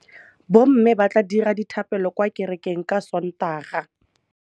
Bommê ba tla dira dithapêlô kwa kerekeng ka Sontaga.